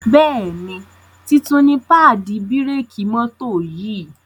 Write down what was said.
Béèni títún ní paadi bírékì mọ́tò yì.